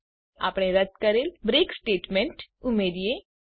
ચાલો હવે આપણે રદ કરેલ બ્રેક સ્ટેટમેન્ટ ઉમેરીએ